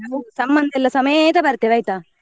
ಸಂಬಂಧಿ ಎಲ್ಲ ಸಮೇತ ಬರ್ತೀವಿ ಆಯ್ತಾ?